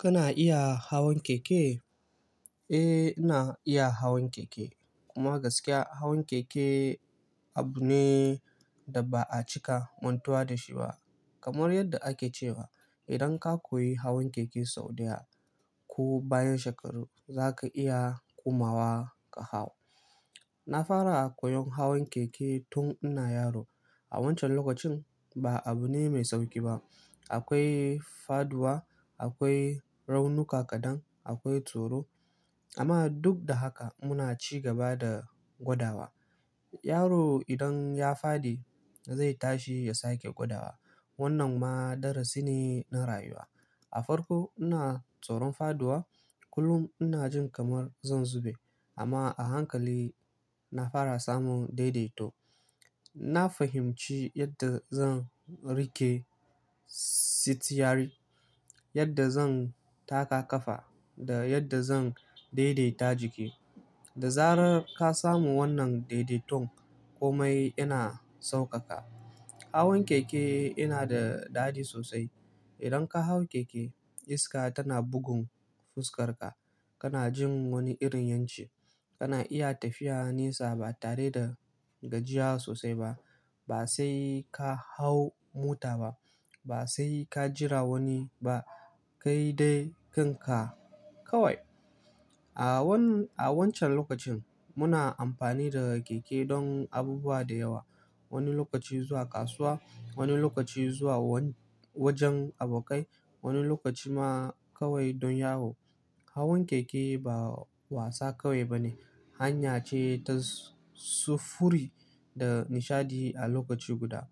Kana iya hawan keke? Eh, ina iya hawan keke. Kuma gaskiya hawan keke abu ne da ba a cika mantuwa da shi ba. Kamar yadda ake cewa idan ka koyi hawan keke sau ɗaya ko bayan shekaru za ka iya komawa ka hau. Na fara koyon hawan keke tun ina yaro. A wancan lokacin ba abu ne mai sauƙi ba. Akwai faduwa, akwai raunuka kaɗan, akwai tsoro. Amma duk da haka muna ci gaba da gwadawa. Yaro idan ya faɗi zai tashi ya sake gwadawa. Wannan ma darasi ne na rayuwa. A farko ina tsoron faduwa. Kullum ina jin kamar zan zube. Amma a hankali na fara samun daidaito. Na fahimci yadda zan riƙe sitiyari, yadda zan taka ƙafa da yadda zan daidaita jiki. Da zarar ka samu wannan daidaiton komai yana saukaka. Hawan keke yana da daɗi sosai. Idan ka hau keke iska tana bugun fuskar ka. Kana jin wani irin 'yanci. Kana iya tafiya nesa ba tare da gajiya sosai ba. Ba sai ka hau mota ba, ba sai ka jira wani ba, kai dai kanka kawai. A wancan lokacin muna amfani da keke don abubuwa da yawa. Wani lokaci zuwa kasuwa, wani lokaci zuwa wajen abokai, wani lokaci ma kawai don yawo. Hawan keke ba wasa kawai ba ne, hanya ce ta sufuri da nishaɗi a lokaci guda.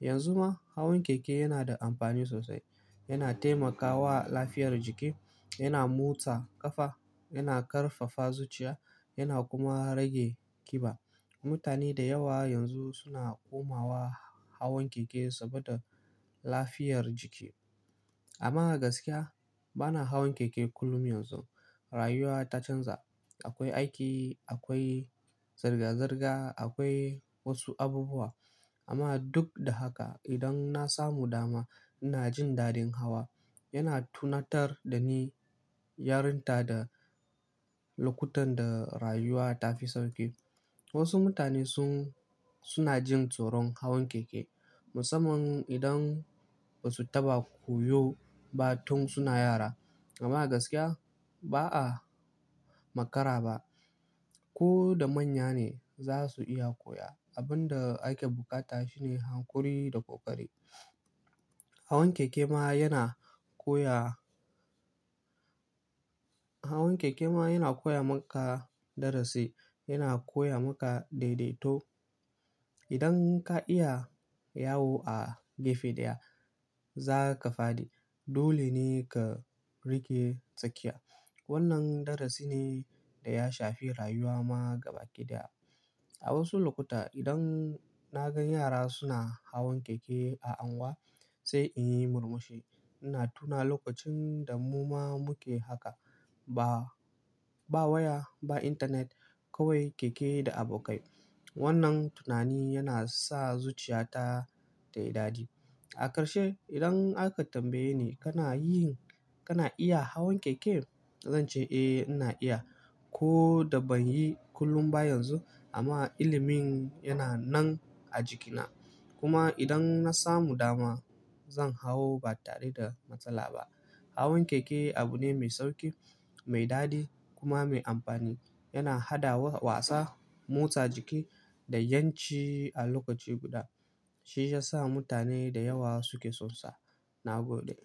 Yanzu ma hawan keke yana da amfani sosai. Yana taimakawa lafiyar jiki, yana motsa ƙafa, yana ƙarfafa zuciya yana kuma rage ƙiba. Mutane da yawa yanzu suna komawa hawan keke saboda lafiyar jiki. Amma gaskiya bana hawan keke kullum yanzu. Rayuwa ta canza. Akwai aiki, akwai zirga-zirga, akwai wasu abubuwa. Amma duk da haka idan na samu dama ina jin daɗin hawa. Yana tunatar da ni yarinta da lokutan da rayuwa ta fi sauƙi. Wasu mutane suna jin tsoron hawan keke. Musamman idan ba su taɓa koyo ba tun suna yara. Amma a gaskiya ba a makara ba. Ko da manya ne za su iya koya. Abin da ake buƙata shine hankuri da ƙoƙari. Hawan keke ma yana koya maka darasi. Yana koya maka daidaito. Idan ka iya yawo a gefe ɗaya za ka faɗi. Dole ne ka riƙe tsakiya. Wannan darasi ne da ya shafi rayuwa ma gaba ɗaya. A wasu lokuta idan na gan yara suna hawan keke a angwa sai in yi murmushi. Ina tuna lokacin da mu ma muke haka. Ba waya ba intanet kawai keke da abokai. Wannan tunani yana sa zuciyata ta yi daɗi. A karshe idan aka tambaye ni kana yin kana iya hawan keke? Zan ce eh ina iya. Ko da ban yi kullum ba yanzu amma ilimin yana nan a jikina. Kuma idan na samu dama zan hau ba tare da matsala ba. Hawan keke abu ne mai sauƙi, mai daɗi kuma mai amfani. Yana haɗa wasa, motsa jiki da 'yanci a lokaci guda. Shi ya sa mutane da yawa suke son sa. Na gode.